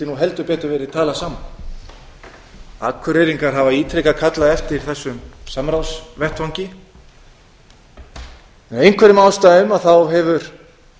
nú heldur betur verið talað saman akureyringar hafa ítrekað kallað eftir þessum samráðsvettvangi af einhverjum ástæðum hefur